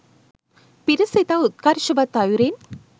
පිරිස ඉතා උත්කර්ෂවත් අයුරින්